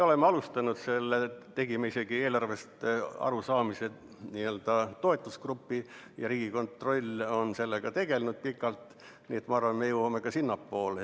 Me tegime isegi eelarvest arusaamise toetusgrupi ja Riigikontroll on sellega pikalt tegelenud, nii et ma arvan, et me liigume sinnapoole.